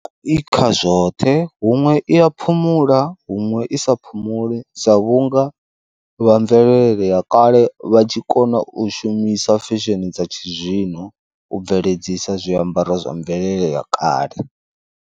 I kha zwoṱhe huṅwe i ya phumula, huṅwe i sa phumule sa vhunga vha mvelele ya kale vha tshi kona u shumisa fesheni dza tshizwino u bveledzisa zwiambaro zwa mvelele ya kale.